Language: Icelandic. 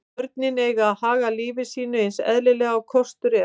Börnin eiga að haga lífi sínu eins eðlilega og kostur er.